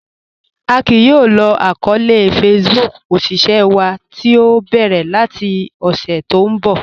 A kìí yóò lò àkọọlẹ̀ Facebook òṣìṣẹ̀ wa tí o bẹ́rẹ̀ lati ọṣẹ̀ tí n bọ̀